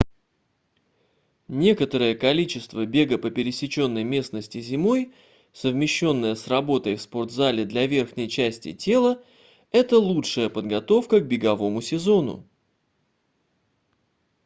некоторое количество бега по пересеченной местности зимой совмещённое с работой в спорт-зале для верхней части тела это лучшая подготовка к беговому сезону